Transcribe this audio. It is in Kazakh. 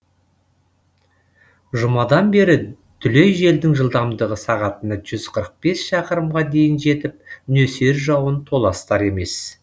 жұмадан бері дүлей желдің жылдамдығы сағатына жүз қырық бес шақырымға дейін жетіп нөсер жауын толастар емес